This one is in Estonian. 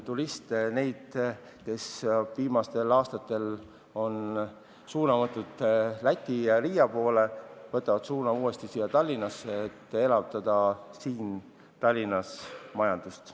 Loodan, et inimesed, kes viimastel aastatel on suuna võtnud Läti ja Riia poole, võtavad uuesti suuna Tallinnasse ja elavdavad Tallinna majandust.